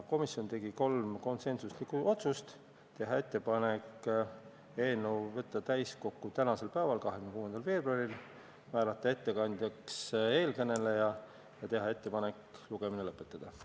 Komisjon tegi kolm konsensuslikku otsust: teha ettepanek võtta eelnõu täiskogu päevakorda tänaseks, 26. veebruariks; määrata ettekandjaks eeskõneleja ja teha ettepanek lugemine lõpetada.